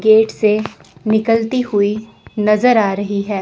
Gate से निकलती हुई नजर आ रही है।